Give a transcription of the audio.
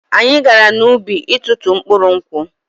Anyị gara n'ubi itụtụ mkpụrụ nkwụ.